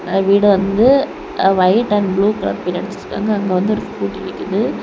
அ வீடு வந்து white and blue colour paint அடிச்சு இருக்காங்க அங்க வந்து ஒரு ஸ்கூட்டி நிக்கிது.